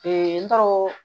n tɔrɔ